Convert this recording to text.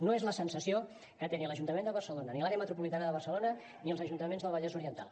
no és la sensació que tenen ni l’ajuntament de barcelona ni l’àrea metropolitana de barcelona ni els ajuntaments del vallès oriental